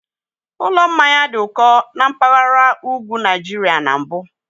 Ụlọ mmanya dị ụkọ na mpaghara ugwu Nigeria na mbụ